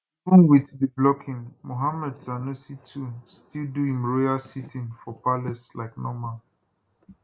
even wit di blocking muhammadu sanusi ii still do im royal sitting for palace like normal